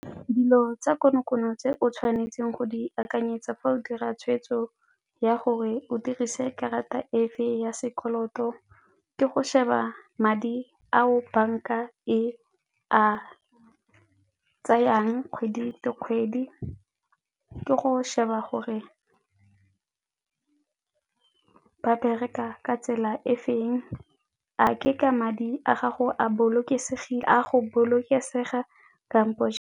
Dilo tsa konokono tse o tshwanetseng go di akanyetsa fa o dira tshweetso ya gore o dirise karata efe ya sekoloto ke go sheba madi ao banka e a tsayang kgwedi le kgwedi, ke go sheba gore ba bereka ka tsela e feng a ke ka madi a gago a go bolokesega kampo jang.